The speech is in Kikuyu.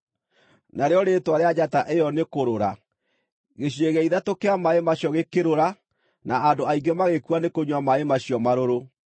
narĩo rĩĩtwa rĩa njata ĩyo nĩ Kũrũra. Gĩcunjĩ gĩa ithatũ kĩa maaĩ macio gĩkĩrũra, na andũ aingĩ magĩkua nĩ kũnyua maaĩ macio marũrũ.